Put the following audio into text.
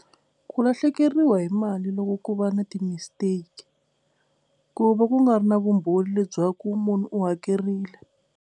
Ku lahlekeriwa hi mali loko ku va na ti mistake ku va ku nga ri na vumbhoni lebyaku munhu u hakerile.